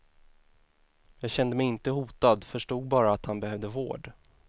Jag kände mig inte hotad, förstod bara att han behövde vård.